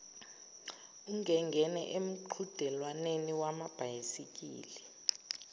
angengene emqhudelwaneni wamabhayisikili